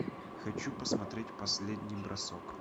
хочу посмотреть последний бросок